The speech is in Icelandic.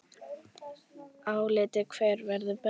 Álitið: Hver verður bestur?